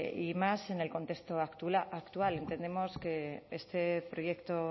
y más en el contexto actual entendemos que este proyecto